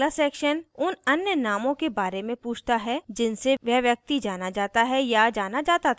अगला section उन अन्य नामों के बारे में पूछता है जिनसे वह व्यक्ति जाना जाता है या जाना जाता था